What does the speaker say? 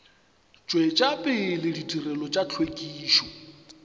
tšwetša pele ditirelo tša hlwekišo